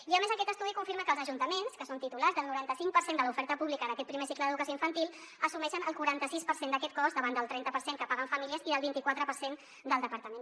i a més aquest estudi confirma que els ajuntaments que són titulars del noranta cinc per cent de l’oferta pública d’aquest primer cicle d’educació infantil assumeixen el quaranta sis per cent d’aquest cost davant del trenta per cent que paguen famílies i del vint i quatre per cent del departament